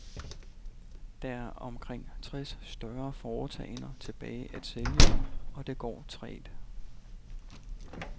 Der er omkring tres større foretagender tilbage at sælge, og det går trægt.